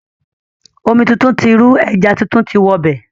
Omi tuntun ti rú, ẹja tuntun ti wọ bẹ̀.